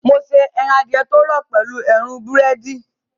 Mo ṣe ẹran adìẹ tó rọ̀ pẹ̀lú èérún búrẹ́dì